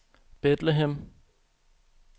Bethlehem